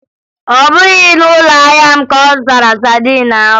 Ọ bụghị na ụlọahịa m ka ọ zụtara sadin ahụ